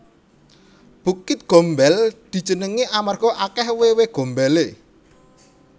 Bukit Gombel dijenengi amarga akeh wewe gombele